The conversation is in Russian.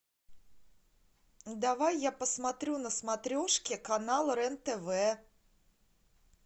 давай я посмотрю на смотрешке канал рен тв